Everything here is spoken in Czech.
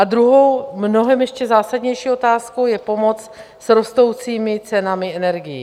A druhou, mnohem ještě zásadnější otázkou, je pomoc s rostoucími cenami energií.